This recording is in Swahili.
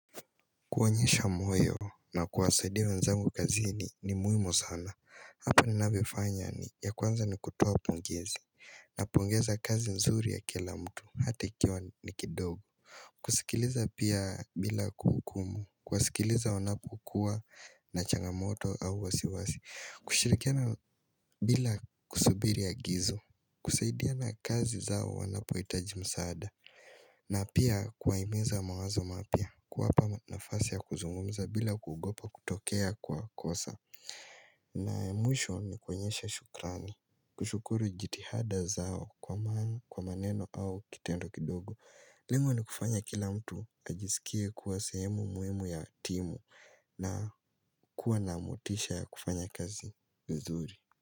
Kuonyesha moyo na kuwasaidia wenzangu kazini ni muimu sana. Hapa ninavyofanya ni ya kuanza ni kutoa pongezi napongeza kazi mzuri ya kila mtu hati ikiwa ni kidogo. Kusikiliza pia bila kuhukumu. Kuwasikiliza wanapokua na changamoto au wasiwasi. Kushirikiana bila kusubiri agizo. Kusaidiana kazi zao wanapoitaji msaada. Na pia kuwaimeza mawazo mapia kuwapa nafasi ya kuzungumza bila kugopa kutokea kwa kosa na emotion ni kwenyesha shukrani kushukuru jitihada zao kwa maneno au kitendo kidogo lengo ni kufanya kila mtu ajisikie kuwa sehemu muhimu ya timu na kuwa namotisha ya kufanya kazi vizuri.